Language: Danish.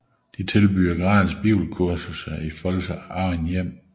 De tilbyder gratis bibelkurser i folks eget hjem